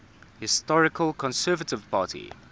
historical conservative party